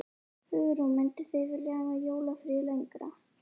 Hugrún: Mynduð þið vilja hafa jólafríið lengra?